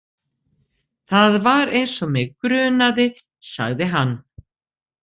Það var eins og mig grunaði, sagði hann.